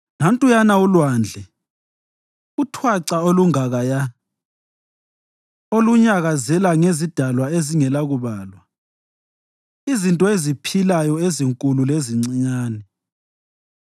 Nantuyana ulwandle, uthwaca olungakaya, olunyakazela ngezidalwa ezingelakubalwa izinto eziphilayo ezinkulu lezincinyane.